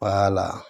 la